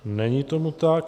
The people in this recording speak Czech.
Není tomu tak.